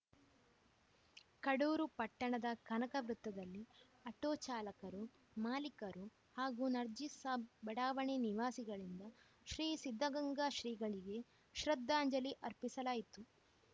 ಕಡೂರು ಪಟ್ಟಣದ ಕನಕ ವೃತ್ತದಲ್ಲಿ ಆಟೋ ಚಾಲಕರು ಮಾಲೀಕರು ಹಾಗೂ ನಜೀರ್‌ ಸಾಬ್‌ ಬಡಾವಣೆ ನಿವಾಸಿಗಳಿಂದ ಶ್ರೀ ಸಿದ್ಧಗಂಗಾ ಶ್ರೀಗಳಿಗೆ ಶ್ರದ್ಧಾಂಜಲಿ ಅರ್ಪಿಸಲಾಯಿತು